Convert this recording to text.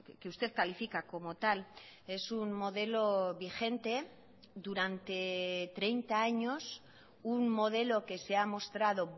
que usted califica como tal es un modelo vigente durante treinta años un modelo que se ha mostrado